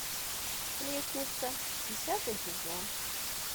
сплетница десятый сезон